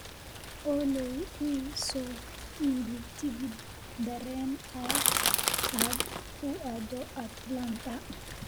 olly ii soo iibi tigidh tareen oo aad ku aado Atlanta